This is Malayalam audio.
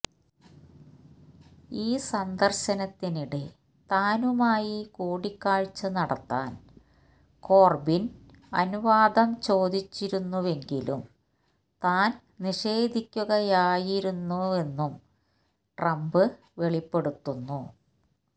ഈ സന്ദർശനത്തിനിടെ താനുമായി കൂടിക്കാഴ്ച നടത്താൻ കോർബിൻ അനുവാദം ചോദിച്ചിരുന്നുവെങ്കിലും താൻ നിഷേധിക്കുകയായിരുന്നുവെന്നും ട്രംപ് വെളിപ്പെടുത്തുന്നു